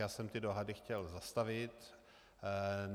Já jsem ty dohady chtěl zastavit.